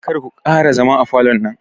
Karku ƙara zama a falon nan